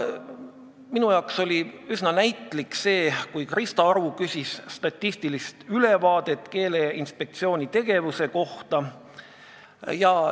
Minu arvates oli üsna näitlik see, kui Krista Aru küsis statistilist ülevaadet Keeleinspektsiooni tegevuse kohta.